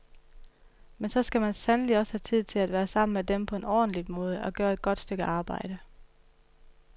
Men så skal man sandelig også have tid til at være sammen med dem på en ordentlig måde, at gøre et godt stykke arbejde.